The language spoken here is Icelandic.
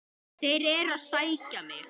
Þeir eru að sækja mig.